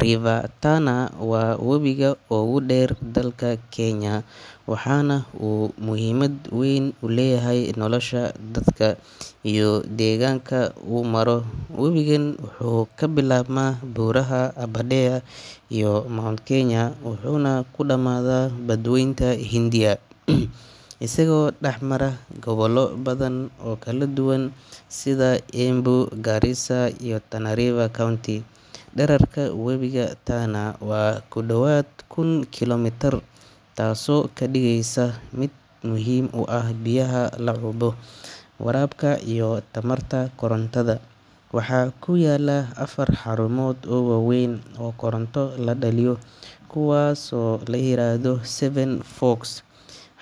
River Tana waa webiga ugu dheer dalka Kenya, waxaana uu muhiimad weyn u leeyahay nolosha dadka iyo deegaanka uu maro. Webigan wuxuu ka bilaabmaa buuraha Aberdare iyo Mount Kenya, wuxuuna ku dhammaadaa Badweynta Hindiya isagoo dhex mara gobollo badan oo kala duwan sida Embu, Garissa iyo Tana River County. Dhererka webiga Tana waa ku dhowaad kun kiilomitir (1000 km), taasoo ka dhigaysa mid muhiim u ah biyaha la cabo, waraabka iyo tamarta korontada. Waxaa ku yaalla afar xarumood oo waaweyn oo koronto laga dhaliyo kuwaasoo la yiraahdo Seven Forks